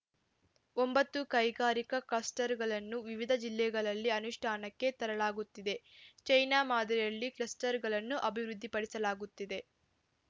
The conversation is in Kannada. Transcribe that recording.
ಒಂಬತ್ತು ಕೈಗಾರಿಕಾ ಕ್ಲಸ್ಟರ್‌ಗಳನ್ನು ವಿವಿಧ ಜಿಲ್ಲೆಗಳಲ್ಲಿ ಅನುಷ್ಠಾನಕ್ಕೆ ತರಲಾಗುತ್ತಿದೆ ಚೈನಾ ಮಾದರಿಯಲ್ಲಿ ಕ್ಲಸ್ಟರ್‌ಗಳನ್ನು ಅಭಿವೃದ್ಧಿಪಡಿಸಲಾಗುತ್ತಿದೆ